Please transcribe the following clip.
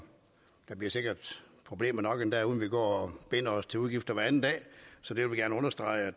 der bliver sikkert problemer nok endda uden at vi går og binder os til udgifter hver anden dag så det vil vi gerne understrege at